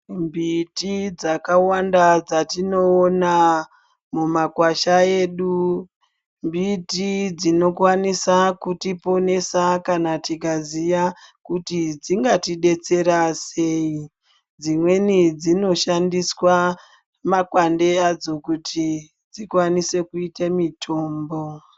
Mbiti dzakawanda dzatinoona mumakwasha edu mbiti dzinokwanisa kutiponesa kana tikaziva kuti dzingatidetsera sei dzimweni dzinoshandiswa makwande adzo kuti dzikwanise kuite mitombo